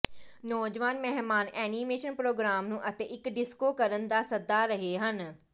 ਨੌਜਵਾਨ ਮਹਿਮਾਨ animation programme ਨੂੰ ਅਤੇ ਇੱਕ ਡਿਸਕੋ ਕਰਨ ਦਾ ਸੱਦਾ ਰਹੇ ਹਨ